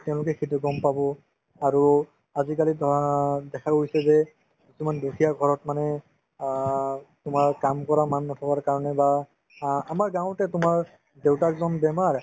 তেওঁলোকে সেইটো গম পাব আৰু আজিকালি ধৰা দেখা গৈছে যে কিছুমান দুখীয়া ঘৰত মানে অ তোমাৰ কাম কৰা মানুহ নথকাৰ কাৰণে বা অ আমাৰ গাঁৱতে তোমাৰ দেউতাক জন বেমাৰ